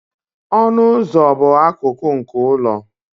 ọnụ ụzọ bụ akụkụ nke ụlọ